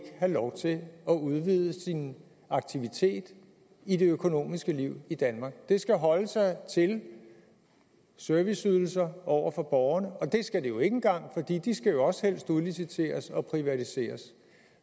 have lov til at udvide sin aktivitet i det økonomiske liv i danmark det skal holde sig til serviceydelser over for borgerne og det skal det jo ikke engang fordi de skal jo også helst udliciteres og privatiseres